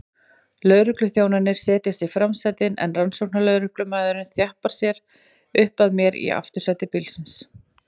Lögregluþjónarnir setjast í framsætin en rannsóknarlögreglumaðurinn þjappar sér upp að mér í aftursæti bílsins.